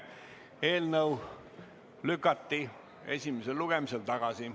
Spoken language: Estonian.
Eelnõu lükati esimesel lugemisel tagasi.